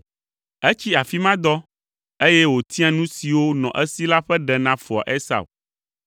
Etsi afi ma dɔ, eye wòtia nu siwo nɔ esi la ƒe ɖe na foa Esau: